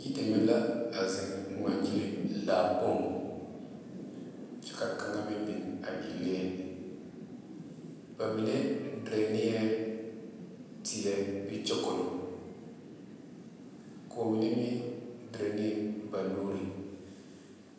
Yideme la a zeŋ ŋmaa gyile laa kpoŋ kyɛ ka kaŋa meŋ biŋ a e lee ba mine dire nee teɛ bee kyɛkolo ko'o mine meŋ dire ne ba nuure.